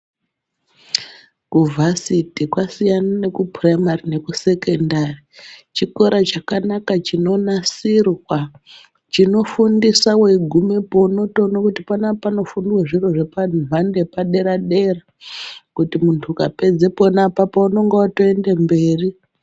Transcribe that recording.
Ku vhasiti kwasiyana neku puraimari neku sekendari chikora chakanaka chino nasirwa chino fundisa wei gumepo unotoona kuti panapa pano fundwe zviro zvepa nhando yepa dera dera kuti muntu ukapedza pona apapo unonga otoende mberi.